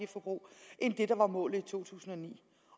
det er der var målet i to tusind og ni